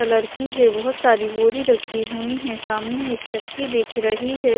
Colour की है बहुत सारी बोरी रखी हुई है सामने एक चक्की दिख रही है।